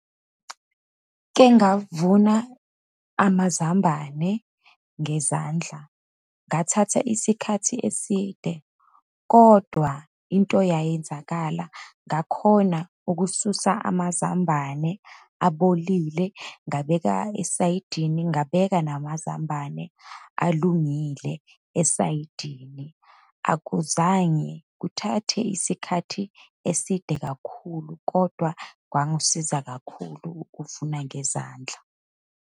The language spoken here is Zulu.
Kengavuna amazambane ngezandla, ngathatha isikhathi eside, kodwa into yayenzakala ngakhona ukususa amazambane abolile, ngabeka esayidini, ngabeka namazambane alungile esayidini. Akuzange kuthathe isikhathi eside kakhulu, kodwa kwangisiza kakhulu ukuvuna ngezandla.